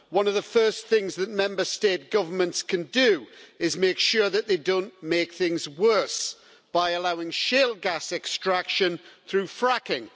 One of the first things that Member State governments can do is make sure that they don't make things worse by allowing shale gas extraction through fracking.